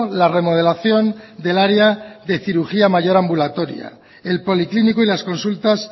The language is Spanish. la remodelación del área de cirugía mayor ambulatoria el policlínico y las consultas